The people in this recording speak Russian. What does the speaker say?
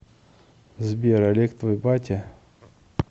сбер олег твой батя